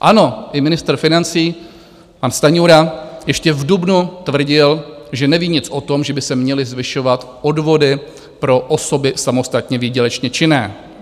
Ano, i ministr financí pan Stanjura ještě v dubnu tvrdil, že neví nic o tom, že by se měly zvyšovat odvody pro osoby samostatně výdělečně činné.